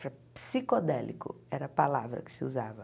Psicodélico era a palavra que se usava.